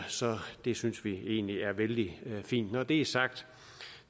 så det synes vi egentlig er vældig fint når det er sagt